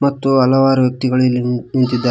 ಮತ್ತು ಹಲವಾರು ವ್ಯಕ್ತಿಗಳು ಇಲ್ಲಿ ನಿ ನಿಂತಿದ್ದಾರೆ.